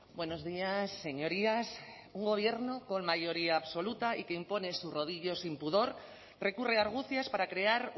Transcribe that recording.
buenos días señorías un gobierno con mayoría absoluta y que impone su rodillo sin pudor recurre a argucias para crear